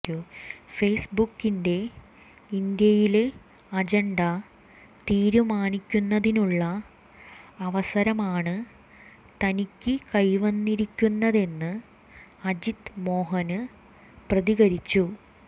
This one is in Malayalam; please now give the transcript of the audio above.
ഫേസ് ബുക്കിന്റെ ഇന്ത്യയിലെ അജണ്ട തീരുമാനിക്കുന്നതിനുള്ള അവസരമാണ് തനിക്ക് കൈവന്നിരിക്കന്നതെന്ന് അജിത് മോഹന് പ്രതികരിച്ചു